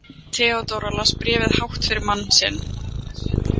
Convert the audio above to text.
Theodóra las bréfið hátt fyrir mann sinn.